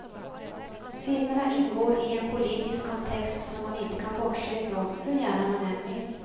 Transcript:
Filmerna ingår i en politisk kontext som man inte kan bortse ifrån, hur gärna man än vill.